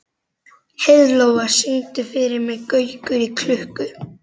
Heiðlóa, syngdu fyrir mig „Gaukur í klukku“.